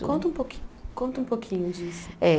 Conta um pouqui, conta um pouquinho disso. Eh